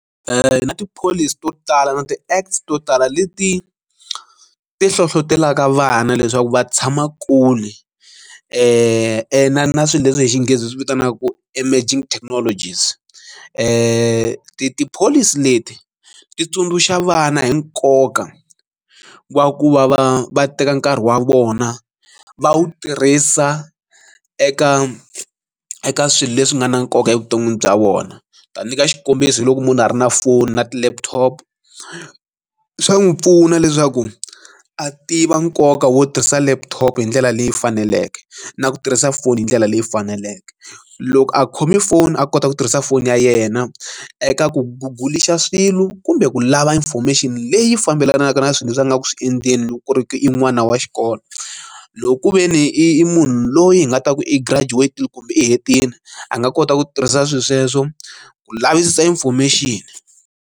Na tipholisi to tala na ti acts to tala leti ti hlohlotelaka vana leswaku va tshama kule na swilo leswi hi xinghezi hi swi vitanaku emerging technology rs ti tipholisi leti ti tsundzuxa vana hi nkoka wa ku va va va teka nkarhi wa vona va wu tirhisa eka eka swilo leswi nga na nkoka evuton'wini bya vona ta nyika xikombiso hi loko munhu a ri na foni na ti laptop swa n'wi pfuna leswaku a tiva nkoka wo tirhisa laptop hi ndlela leyi faneleke na ku tirhisa foni hi ndlela leyi faneleke loko a khome foni a kota ku tirhisa foni ya yena eka ku gold xa swilo kumbe ku lava information leyi fambelanaka na swilo leswi a nga ku swi endleni loko ku ri i n'wana wa xikolo loko ku ve ni i munhu loyi hi nga ta ku e graduation kumbe i hetile a nga kota ku tirhisa swilo sweswo ku lavisisa information.